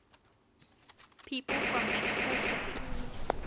people from mexico city